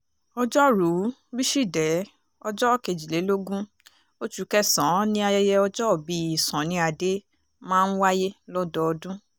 ọjọ́rùú wíṣídẹ̀ẹ́ ọjọ́ kejìlélógún oṣù kẹsàn-án ni ayẹyẹ ọjọ́òbí sunny ade máa ń wáyé lọ́dọọdún